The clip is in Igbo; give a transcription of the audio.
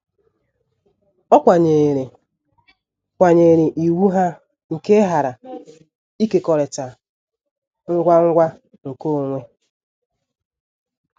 Ọ kwanyeere kwanyeere iwu ha nke ịghara ịkekọrịta ngwa ngwa nkeonwe.